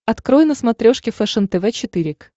открой на смотрешке фэшен тв четыре к